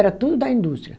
Era tudo da indústria.